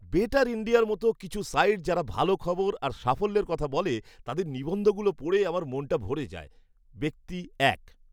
Better ইণ্ডিয়ার মতো কিছু সাইট যারা ভালো খবর আর সাফল্যের কথা বলে, তাদের নিবন্ধগুলো পড়ে আমার মনটা ভরে যায়। ব্যক্তি এক